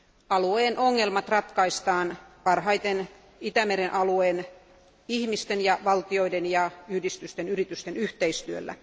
Alueen ongelmat ratkaistaan parhaiten Itämeren alueen ihmisten, valtioiden, yhdistysten ja yritysten yhteistyöllä.